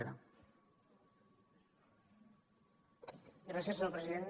gràcies senyor president